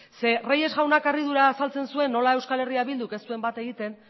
reyes jaunak harridura azaltzen zuen nola eh bilduk ez duen bat egiten